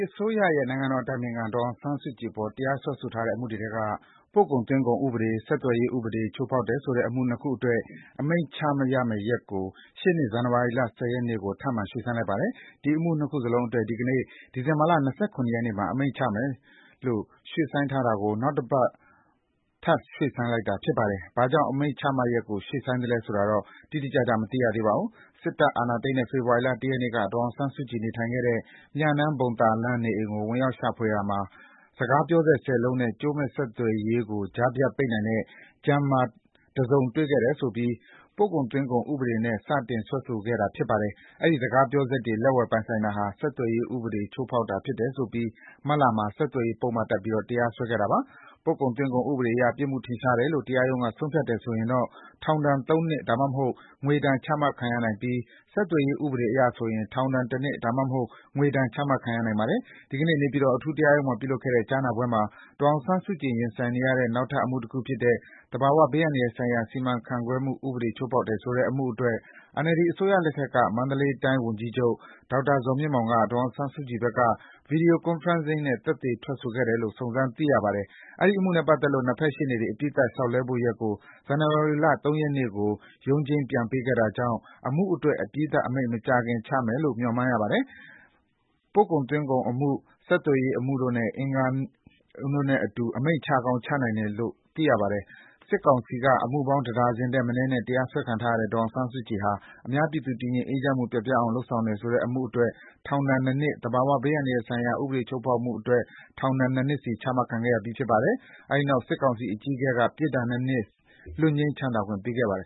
အစိုးရရဲ့ နိုင်ငံတော်အတိုင်ပင်ခံ ဒေါ်အောင်ဆန်းစုကြည်အပေါ်တရားစွဲထားတဲ့အမှုတွေထဲက ပို့ကုန်သွင်းကုန်ဥပဒေ၊ ဆက်သွယ်ရေးဥပဒေတွေ ချိုးဖောက်တယ်ဆိုတဲ့ အမှု ၂ ခု အတွက် အမိန့်ချမယ့်ရက်ကို ရှေ့နှစ် ဇန်နဝါရီ ၁၀ ရက်ကို ထပ်မံ ရွှေ့ဆိုင်းလိုက်ပါတယ်။ ဒီအမှု ၂ ခုလုံးအတွက် ဒီနေ့ ဒီဇင်ဘာ ၂၇ ရက်မှာ အမိန့်ချမယ်လို့ ရွှေ့ဆိုင်းထားတာကို နောက်ထပ်သီတင်း ၁ ပတ် ထပ်ဆိုင်းလိုက်တာဖြစ်ပါတယ်။ ဘာကြောင့် အမိန့်ချမယ့်ရက်ကို ရွှေ့ဆိုင်းသလဲဆိုတာတော့ တိတိကျကျ မသိရပါဘူး။ စစ်တပ်အာဏာသိမ်းတဲ့ ဖေဖော်ဝါရီ ၁ ရက်နေ့က ဒေါ်အောင်ဆန်းစုကြည် နေထိုင်ခဲ့တဲ့ မြနန်းဘုံသာလမ်းနေအိမ်ကိုဝင်ရောက်ရှာဖွေရာမှာ စကားပြောစက် ၁၀ လုံး နဲ့ကြိုးမဲ့ဆက်သွယ်ရေးကို ကြားဖြတ်ပိတ်နိုင်တဲ့ Jammer တစုံတွေ့လို့ဆိုပြီး ပို့ကုန်သွင်းကုန်ဥပဒေနဲ့ စတင်စွဲဆိုခဲ့တာဖြစ်ပါတယ်။ အဲဒီစကားပြောစက်တွေ လက်ဝယ်ပိုင်ဆိုင်တာဟာ ဆက်သွယ်ရေးဥပဒေချိုး ဖောက်တာဖြစ်တယ်ဆိုပြီး မတ်လမှာ ဆက်သွယ်ရေးပုဒ်မတပ်ပြီး ထပ်တရားစွဲခဲ့ပါတယ်။ ပို့ကုန်သွင်းကုန်ဥပဒေအရ ပြစ်မှုထင်ရှားတယ်လို့ တရားရုံးက ဆုံးဖြတ်တယ်ဆိုရင် ထောင် ၃ နှစ် ဒါမှမဟုတ် ငွေဒဏ် ချမှတ်ခံရနိုင်ပြီး ဆက်သွယ်ရေးဥပဒေအရဆိုရင် ထောင် ၁ နှစ် ဒါမှမဟုတ် ငွေဒဏ် ချမှတ်ခံရနိုင်ပါတယ်။ ဒီနေ့ နေပြည်တော်အထူးတရားရုံးမှာပြုလုပ်တဲ့ကြားနာပွဲမှာဒေါ်အောင်ဆန်းစုကြည် ရင်ဆိုင်နေရတဲ့ နောက်ထပ်အမှုတခုဖြစ်တဲ့ သဘာဝဘေးအန္တရာယ်ဆိုင်ရာ စီမံခန့်ခွဲမှုဥပဒေချိုးဖောက်တယ်ဆိုတဲ့ အမှုအတွက် NLD အစိုးရလက်ထက်က မန္တလေးတိုင်းဝန်ကြီးချုပ် ဒေါက် တာဇော်မြင့်မောင်က ဒေါ်အောင်ဆန်းစုကြည်ဘက်က ဗွီဒီယို ကွန်ဖရန့်ဇင်းနဲ့ သက်သေထွက်ဆိုခဲ့တယ်လို့ စုံစမ်းသိရပါ တယ်။ အဲဒီအမှုနဲ့ပတ်သတ်လို့ ၂ ဘက်ရှေ့နေတွေ အပြီးသတ်လျှောက်လဲဖို့ရက်ကို ဇန်နဝါရီ ၃ ရက်နေ့ကို ရုံးချိန်းပြန်ပေးခဲ့တာကြောင့် အမှုအတွက် အပြီးသတ်အမိန့် မကြာခင် ချမှတ်မယ်လို့ ခန့်မှန်းရပါတယ်။ ပို့ကုန်သွင်းကုန်အမှု၊ ဆက်သွယ်ရေးအမှုတို့နဲ့အတူ အမိန့်ချကောင်း ချနိုင်ပါတယ်။ စစ်ကောင်စီက အမှုပေါင်း ၁ ဒါဇင်ထက်မနည်းနဲ့ တရားစွဲခံခဲ့ရတဲ့ ဒေါ်အောင်ဆန်းစုကြည် ဟာ အများပြည်သူ တည်ငြိမ်အေးချမ်းမှု ပျက်ပြားအောင်လုပ်တယ်ဆိုတဲ့ အမှုအတွက် ထောင် ဒဏ် ၂ နှစ်၊ သဘာဝဘေးအန္တရာယ်ဆိုင်ရာ ဥပဒေချိုးဖောက်မှုအတွက် ထောင်ဒဏ် ၂ နှစ် ချ ချခံခဲ့ရပါတယ်။ အဲဒီနောက် စစ်ကောင်စီ အကြီးအကဲက ပြစ်ဒဏ် ၂ နှစ် လွတ်ငြိမ်းသက်သာခွင့်ပေးခဲ့ပါတယ်